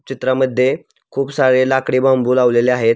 चित्रामध्ये खूप सारे लाकडी बांबू लावलेले आहेत.